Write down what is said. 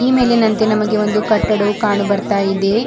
ಈ ಮೇಲಿನಂತೆ ನಮಗೆ ಒಂದು ಕಟ್ದಡವು ಕಾಣು ಬರ್ತಾ ಇದೆ.